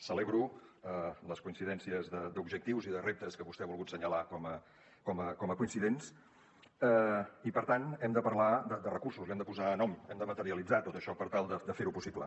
celebro les coincidències d’objectius i de reptes que vostè ha volgut assenyalar com a coincidents i per tant hem de parlar de recursos li hem de posar nom hem de materialitzar tot això per tal de fer ho possible